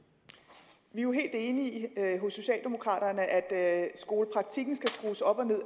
vi er jo helt enige hos socialdemokraterne i at skolepraktikken skal skrues op og ned